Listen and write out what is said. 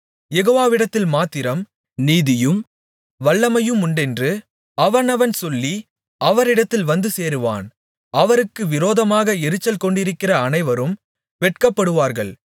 யெகோவாவிடத்தில் மாத்திரம் நீதியும் வல்லமையுமுண்டென்று அவனவன் சொல்லி அவரிடத்தில் வந்து சேருவான் அவருக்கு விரோதமாக எரிச்சல் கொண்டிருக்கிற அனைவரும் வெட்கப்படுவார்கள்